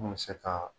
Mun bɛ se ka